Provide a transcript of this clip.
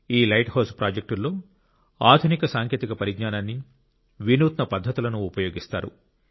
ఈ lighthouse ప్రాజెక్టుల్లో ఆధునిక సాంకేతిక పరిజ్ఞానాన్ని వినూత్న పద్ధతులను ఉపయోగిస్తారు